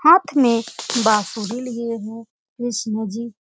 हाथ में बांसुरी लिए हों कृष्णजी।